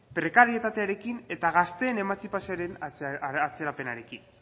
prekarietatearekin eta gazteen emantzipazioaren atzerapenarekin